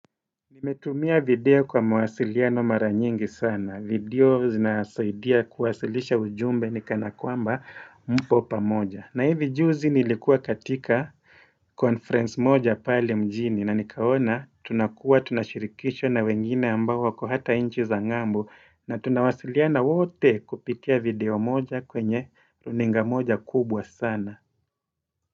Nimetumia video kwa mawasiliano mara nyingi sana. Video zinasaidia kuwasilisha ujumbe ni kanakwamba mpo pamoja. Na hivi juzi nilikuwa katika conference moja pale mjini na nikaona tunakuwa tunashirikishwa na wengine ambao wako hata inchi za ngambo na tunawasiliana wote kupitia video moja kwenye runinga moja kubwa sana.